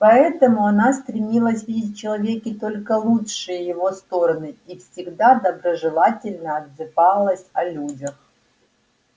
поэтому она стремилась видеть в человеке только лучшие его стороны и всегда доброжелательно отзывалась о людях